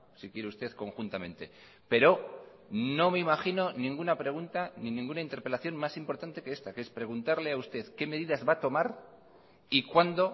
si quiere usted conjuntamente pero no me imagino ninguna pregunta ni ninguna interpelación más importante que esta que es preguntarle a usted qué medidas va a tomar y cuándo